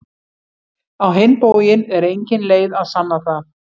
Á hinn bóginn er engin leið að sanna það.